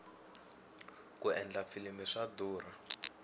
ku endla filimi swa durha